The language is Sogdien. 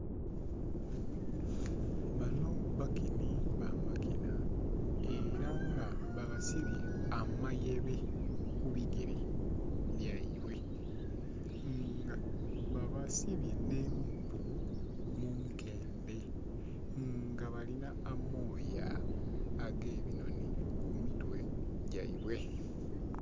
Banho bakinhi ba makinha era nga babasibye amayebe ku bigere byeibwe nga babasibye nh'empuu munkendhe nga balina amooya agebinhonhi ku mitwe gyeibwe.